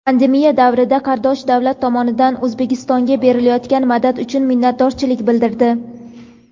Pandemiya davrida qardosh davlat tomonidan O‘zbekistonga berilayotgan madad uchun minnatdorchilik bildirdi.